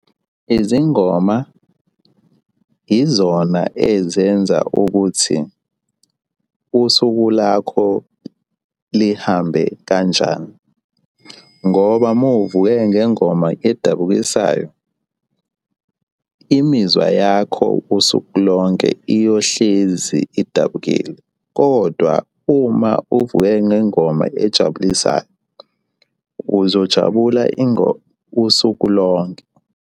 Izingoma izona ezenza ukuthi usuku lakho lihambe kanjani ngoba uma uvuke ngengoma edabukisayo, imizwa yakho usuku lonke iyohlezi idabukile kodwa uma uvuke ngengoma ejabulisayo, uzojabula usuku lonke.